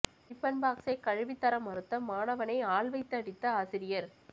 tiffin பாக்ஸை கழுவி தர மறுத்த மாணவனை ஆள் வைத்து அடித்த ஆசிரியர்